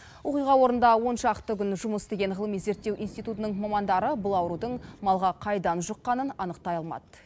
оқиға орнында он шақты күн жұмыс істеген ғылыми зерттеу институтының мамандары бұл аурудың малға қайдан жұққанын анықтай алмады